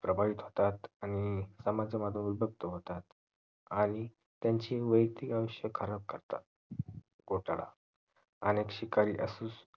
प्रभावित होतात आणि समाजा जवळ जप्त होतात आणि त्यांची वायक्तिक अंश खराब करतात घोटाला अनेक शिकारी असू